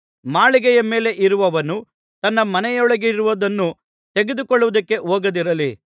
ಮಾಳಿಗೆಯ ಮೇಲೆ ಇರುವವನು ತನ್ನ ಮನೆಯೊಳಗಿರುವುದನ್ನು ತೆಗೆದುಕೊಳ್ಳುವುದಕ್ಕೆ ಹೋಗದಿರಲಿ